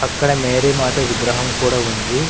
అక్కడ మేరీ మాత విగ్రహం కూడా ఉంది.